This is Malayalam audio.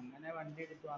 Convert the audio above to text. അങ്ങനെ വണ്ടി എടുത്തു